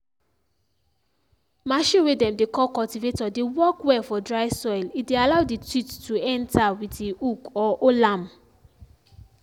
machine way dem dey call cultivator dey work well for dry soil e dey allow the teeth to enter with e hook or hold am.